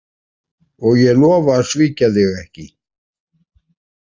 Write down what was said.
Og ég lofa að svíkja þig ekki